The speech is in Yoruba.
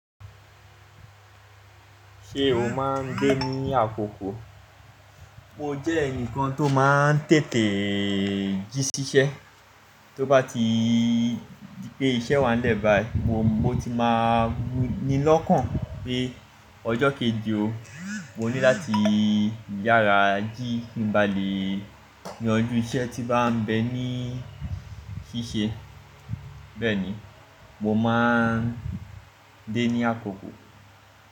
Ṣé o má ń dé ní àkókò? Mo jẹ́ ẹnìkan tó má ń tètè jí siṣẹ́. Tó bá ti di pé iṣẹ́ wa lẹ́ bayii, mo ti máa nílọ̀kàn pé ọjọ́ keji o, mo ní láti yára jí kí n ba lè yanjú iṣẹ́ tí bá ń bẹ ní ṣíṣe. Bẹ́ẹ̀ni, mo máa ń dé ní àkókò.